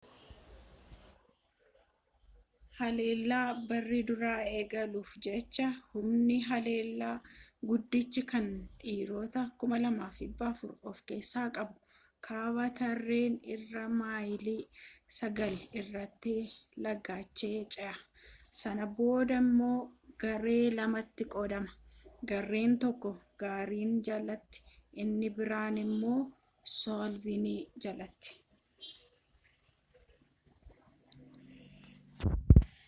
haleellaa barii duraa eegaluuf jecha humni haleellaa guddichi kan dhiirota 2,400 of keessaa qabu kaaba tireenten irraa maayilii sagal irratti lagicha ce'a sana booda immoo garee lamatti qoodama gareen tokko giriin jalatti inni biraan immoo suuliivaan jalatti